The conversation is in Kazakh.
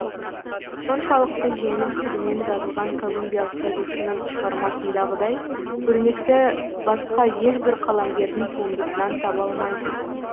соншалықты жеңіл тілмен жазылған колумбиялық жазушының шығармасындағыдай өрнекті басқа ешбір қаламгердің туындысынан таба алмайсыз